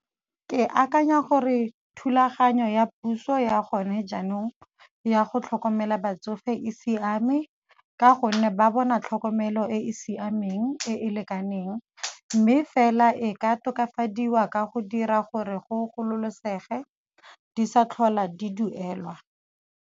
Ke akanya gore thulaganyo ya puso ya gone jaanong ya go tlhokomela batsofe e siame ka gonne ba bona tlhokomelo e e siameng e e lekaneng, mme fela e ka tokafadiwa ka go dira gore go gololosege di sa tlhola di duelwa.